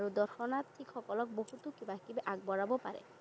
দৰ্শনাৰ্থীসকলক বহুতো কিবা কিবি আগবঢ়াব পাৰে।